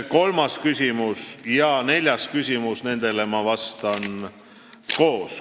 Kolmandale ja neljandale küsimusele vastan ma koos.